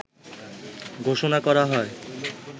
ঘোষণা করা হয়